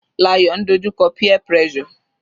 Layo ń dojú kọ peer pressure.